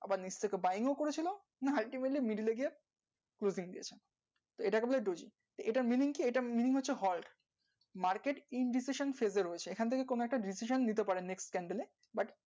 আবার red টা buying এ উপরে ছিল এটা নিয়ে আমরা দেখবো এটা নিয়ে হচ্ছে ভয় market পুরো restriction পরে